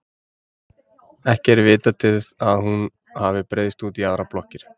ekki er vitað til að hún hafi breiðst út í aðrar blokkir